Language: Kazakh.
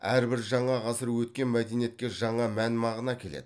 әрбір жаңа ғасыр өткен мәдениетке жаңа мән мағына әкеледі